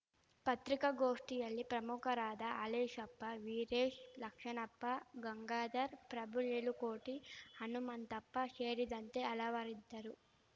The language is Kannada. ಪತ್ರಿಕಾಗೋಷ್ಠಿಯಲ್ಲಿ ಪ್ರಮುಖರಾದ ಹಾಲೇಶಪ್ಪ ವೀರೇಶ್‌ ಲಕ್ಷ್ಮಣಪ್ಪ ಗಂಗಾಧರ್ ಪ್ರಭು ಏಳುಕೋಟಿ ಹನುಮಂತಪ್ಪ ಶೇರಿದಂತೆ ಹಲವರಿದ್ದರು